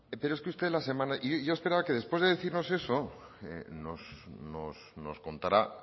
y yo esperaba que después de decirnos eso nos contara